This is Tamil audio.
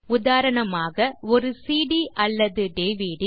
உதாரணமாக ஒரு சிடி அல்லது டிவிடி